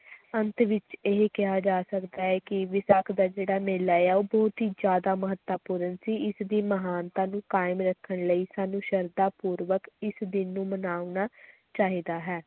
ਅੰਤ ਵਿਚ ਇਹ ਕਿਹਾ ਜਾ ਸਕਦਾ ਹੈ ਕਿ ਵਿਸਾਖ ਦਾ ਜਿਹੜਾ ਮੇਲਾ ਹੈ ਉਹ ਬਹੁਤ ਹੀ ਜ਼ਿਆਦਾ ਮਹੱਤਵਪੂਰਨ ਸੀ, ਇਸਦੀ ਮਹਾਨਤਾ ਨੂੰ ਕਾਇਮ ਰੱਖਣ ਲਈ ਸਾਨੂੰ ਸਰਧਾਂ ਪੂਰਵਕ ਇਸ ਦਿਨ ਨੂੰ ਮਨਾਉਣਾ ਚਾਹੀਦਾ ਹੈ।